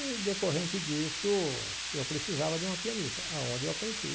E, decorrente disso, eu precisava de uma pianista, aonde eu a conheci.